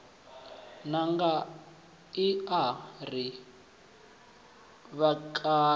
ṋanga i a ri vhakale